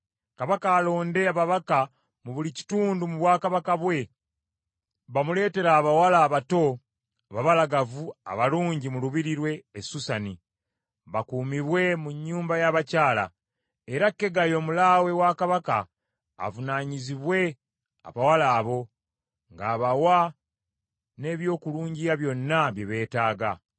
Kabaka alonde ababaka mu buli kitundu mu bwakabaka bwe, bamuleetere abawala abato ababalagavu abalungi mu lubiri lwe e Susani bakuumibwe mu nnyumba y’abakyala. Era Kegayi omulaawe wa Kabaka avunaanyizibwe abawala abo, ng’abawa ne by’okulungiya byonna bye beetaaga.